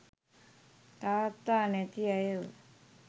තාත්තා නැති ඇයව